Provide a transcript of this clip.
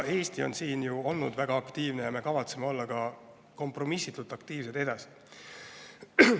Eesti on siin olnud väga aktiivne ja me kavatseme olla kompromissitult aktiivsed ka edasi.